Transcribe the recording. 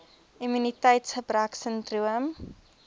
immuniteits gebrek sindroom